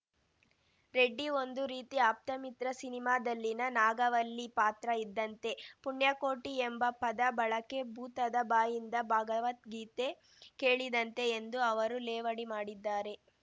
ರೆಡ್ಡಿ ಒಂದು ರೀತಿ ಆಪ್ತಮಿತ್ರ ಸಿನಿಮಾದಲ್ಲಿನ ನಾಗವಲ್ಲಿ ಪಾತ್ರ ಇದ್ದಂತೆ ಪುಣ್ಯಕೋಟಿ ಎಂಬ ಪದ ಬಳಕೆ ಭೂತದ ಬಾಯಿಂದ ಭಗವದ್ಗೀತೆ ಕೇಳಿದಂತೆ ಎಂದೂ ಅವರು ಲೇವಡಿ ಮಾಡಿದ್ದಾರೆ